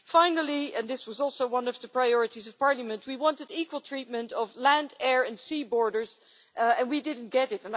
Finally, and this was also one of the priorities of Parliament, we wanted equal treatment of land, air and sea borders, and we did not get it.